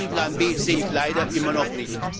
Aber diesen Plan B sehe ich leider immer noch nicht.